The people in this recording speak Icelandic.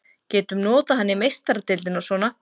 Getum notað hann í Meistaradeildinni og svona.